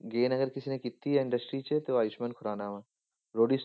Gain ਅਗਰ ਕਿਸੇ ਨੇ ਕੀਤੀ ਆ industry 'ਚ ਤੇ ਉਹ ਆਯੁਸਮਾਨ ਖੁਰਾਨਾ ਵਾਂ, ਰੋਡੀਜ